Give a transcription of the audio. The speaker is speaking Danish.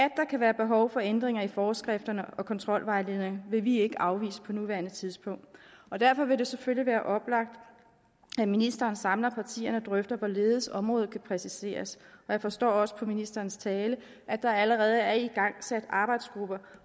kan være behov for ændringer i forskrifterne og kontrolvejledningerne vil vi ikke afvise på nuværende tidspunkt og derfor vil det selvfølgelig være oplagt at ministeren samler partierne og drøfter hvorledes området kan præciseres og jeg forstår også på ministerens tale at der allerede er igangsat arbejdsgrupper